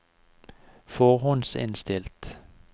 forhåndsinnstilt